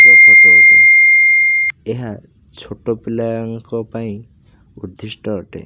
ଏହା ଛୋଟ ପିଲାଙ୍କ ପାଇଁ ଉଦ୍ଦିଷ୍ଟ ଅଟେ।